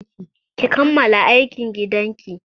Ki kammala aikin gidan ki!